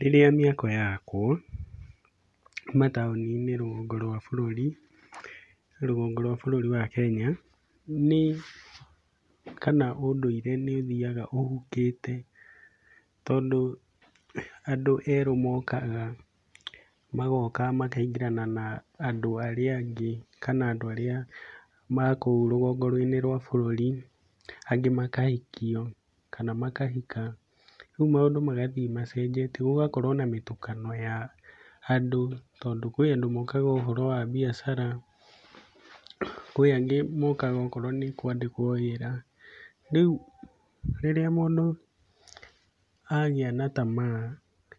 Rĩrĩa mĩako yakwo mataũni-inĩ rũgongo rwa bũrũri, rũgongo rwa bũrũri wa Kenya, nĩ kana ũndũire nĩ ũthiaga ũhukĩte tondũ andũ erũ mokaga, magoka makaingĩrana na andũ arĩa angĩ kana andũ arĩa ma kũu rũgongo-inĩ rwa bũrũri, angĩ makahikio kana makahika. Rĩu maũndũ magathiĩ macenjetie gũgakorwo na mĩtukano ya andũ, tondũ kwĩ andũ mokaga ũhoro wa biacara, kwĩ angĩ mokaga okorwo nĩ kwandĩkwo wĩra. Rĩu rĩrĩa mũndũ agĩa na tamaa